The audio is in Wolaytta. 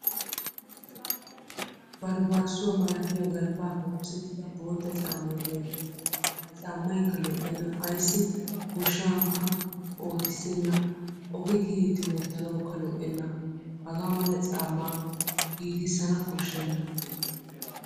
Barbbaasuwa malatiya galbbaappe oosettida bootta caammay beettes. Ha caammaykka lo'enna ayssi goshankka ootissena ogee kiyiiddi wottanawukka lo'enna hagaa mala caammaa giigissana koshshenna.